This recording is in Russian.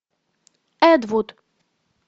эд вуд